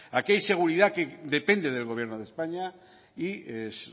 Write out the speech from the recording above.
aquí hay seguridad que depende del gobierno de españa y es